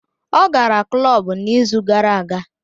Ọ gara klọb n'izu gara aga